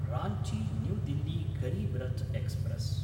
Ranchi New Delhi Garib Rath express